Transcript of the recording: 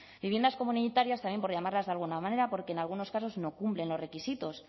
viviendas comunitarias también por llamarlas de alguna manera porque en algunos casos no cumplen los requisitos